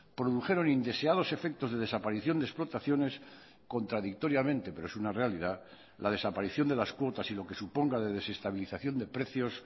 produjeron indeseados efectos de desaparición de explotaciones contradictoriamente pero es una realidad la desaparición de las cuotas y lo que suponga de desestabilización de precios